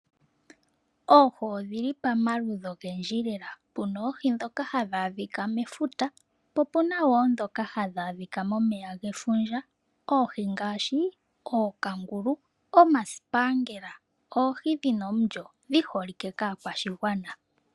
Oohi odhili pamaludhi ogendji lela puna oohii dhoka hadhadhika mefuta po opunawo dhoka hadhadhika momeya gefundja oohi ngashi ookangulu, omasipangela oohi dhina olyo dhiholike kakwashingwana.